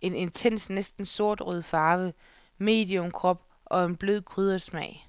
en intens næsten sortrød farve, medium krop og en blød, krydret smag.